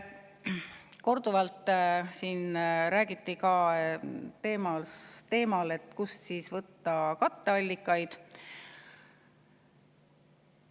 Korduvalt räägiti siin ka teemal, kust võtta katteallikaid.